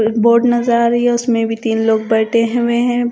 एक बोट नजर आ रही है। उसमें भी तीन लोग बैठे हुए हैं।